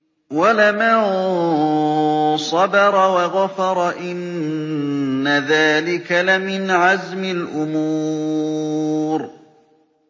وَلَمَن صَبَرَ وَغَفَرَ إِنَّ ذَٰلِكَ لَمِنْ عَزْمِ الْأُمُورِ